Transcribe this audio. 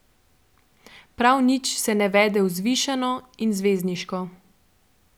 Prav nič se ne vede vzvišeno in zvezdniško.